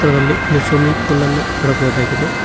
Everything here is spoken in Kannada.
ಅದ್ರದಲ್ಲಿ ಒಂದು ಸ್ವಿಮ್ಮಿಂಗ್ ಪೂಲ್ ಅನ್ನ ನೋಡಬಹುದಾಗಿದೆ.